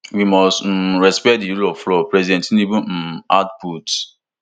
we must um respect di rule of law president tinubu um add put